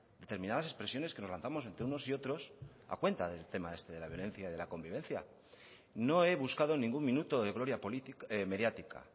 determinadas expresiones que nos lanzamos entre unos y otros a cuenta del tema este de la violencia y de la convivencia no he buscado ningún minuto de gloria mediática